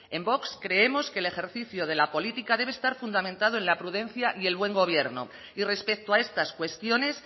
en vox creemos que el ejercicio de la política debe estar fundamentado en la prudencia y el buen gobierno y respecto a estas cuestiones